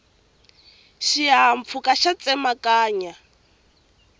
xihahampfhuka xa tsemakanya